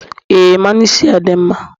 Ee mmanụ isi a dị mma.